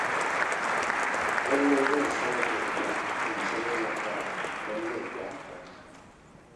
Lallai zan sayar da ita in sayo zakara don zai fi amfani.